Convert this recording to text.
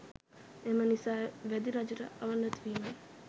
එම නිසා වැදි රජුට අවනත වීම